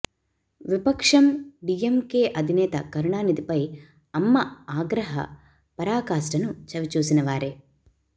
విపక్షం డీఎంకే అధినేత కరుణానిథిపై అమ్మ ఆగ్రహ పరాకాష్టను చవిచూసిన వారే